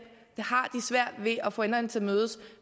har svært ved at få enderne til at mødes